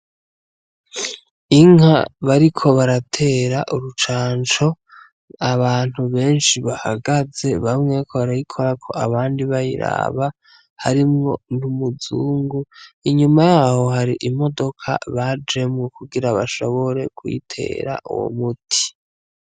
Inka bariko baratera urucanco, abantu benshi bagahaze, bamwe bariko barayikorako, abandi bayiraba, harimwo n'umuzungu, inyuma yaho hari imodoka bajemwo kugira bashobore kuyitera uwo muti.